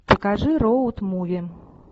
покажи роуд муви